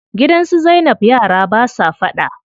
Gidan su zainab yara basa faɗa.